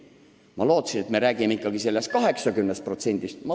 Ma arvasin, et jutt on umbes 80%-st.